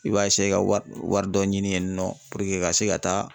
I b'a ka war wari dɔ ɲini yen nɔ puruke ka se ka taa.